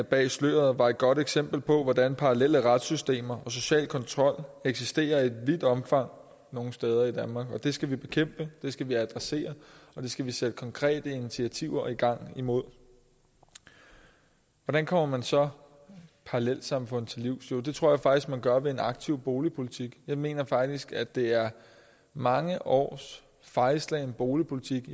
bag sløret var et godt eksempel på hvordan parallelle retssystemer og social kontrol eksisterer i vidt omfang nogle steder i danmark det skal vi bekæmpe det skal vi adressere og det skal vi sætte konkrete initiativer i gang imod hvordan kommer man så parallelsamfund til livs jo det tror jeg faktisk man gør ved en aktiv boligpolitik jeg mener faktisk at det er mange års fejlslagen boligpolitik